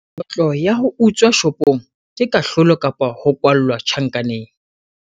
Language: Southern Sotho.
kotlo ya ho utswa shopong ke kahlolo kapa ho kwallwa tjhankaneng